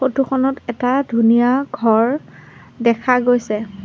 Photo খনত এটা ধুনীয়া ঘৰ দেখা গৈছে।